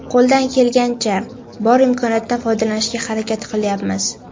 Qo‘ldan kelgancha, bor imkoniyatdan foydalanishga harakat qilyapmiz.